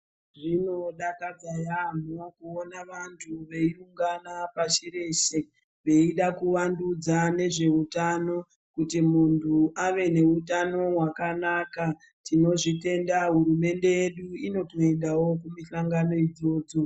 Zvinodakadza yaamho kuona vantu veiungana pashi reshe veida kuvandudza nezveutano kuti muntu ave neutano wakanaka tinozvitenda hurumende yedu inotoendawo kumihlangano idzodzo.